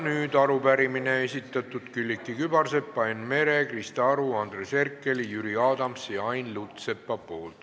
Nüüd arupärimine, mille on esitanud Külliki Kübarsepp, Enn Meri, Krista Aru, Andres Herkel, Jüri Adams ja Ain Lutsepp.